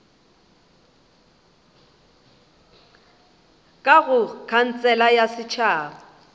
ka go khansele ya setšhaba